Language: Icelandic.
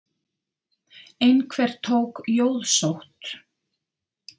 Einhver tók jóðsótt.